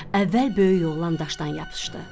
Əvvəl böyük oğlan daşdan yapışdı.